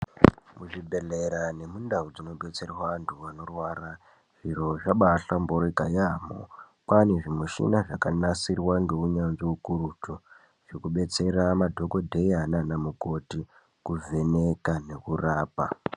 Muzvibhedhlera nemundau dzinodetserwe antu anorwara zviro zvabaahlamburika yaamho kwaane zvimushina zvakanasirwa ngeunyanzvi ukurutu zvinodetsera madhokodheya nana mukoti kuvheneka nekurapa .